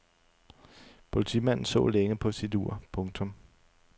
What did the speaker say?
Politimanden så længe på sit ur. punktum